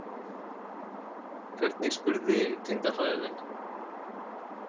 Hvernig spurði tengdafaðir þinn?